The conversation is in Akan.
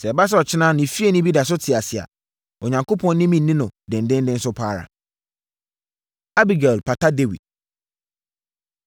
Sɛ ɛba sɛ ɔkyena ne fieni bi da so te ase a, Onyankopɔn ne me nni no denden so pa ara.” Abigail Pata Dawid